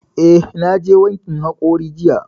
Eh, na je wankin haƙori jiya